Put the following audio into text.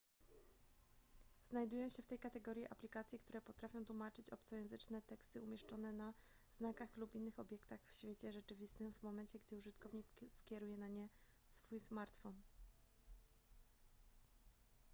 znajdują się w tej kategorii aplikacje które potrafią tłumaczyć obcojęzyczne teksty umieszczone na znakach lub innych obiektach w świecie rzeczywistym w momencie gdy użytkownik skieruje na nie swój smartfon